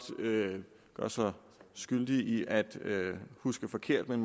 skyldig i at huske forkert men